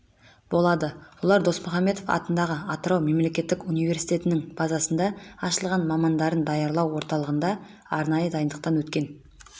болады олар досмұхамедов атындағы атырау мемлекеттік университетінің базасында ашылған мамандарын даярлау орталығында арнайы дайындықтан өткен